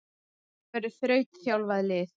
Þetta verður þrautþjálfað lið.